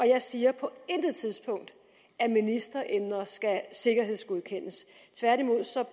jeg siger på intet tidspunkt at ministeremner skal sikkerhedsgodkendes tværtimod